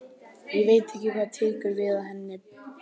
Ég veit ekki hvað tekur við að henni lokinni.